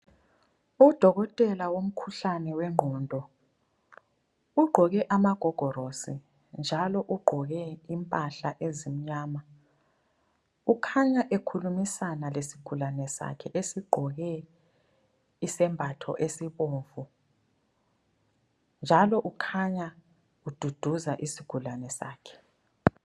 Udokotela womkhuhlane wengqondo ugqoke amagogorosi, njalo ugqoke impahla ezimnyama ukhanya ekhulumisana lesigulane sakhe esigqoke isembatho esibomvu, njalo ukhanya ududuza isigulane sakhe.